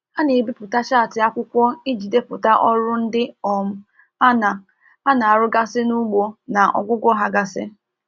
Ha na-ebipụta chaatị akwụkwọ iji deputa ọrụ ndị um ana ana arụ gasị n'ugbo na ọgwụgwọ ha gasi.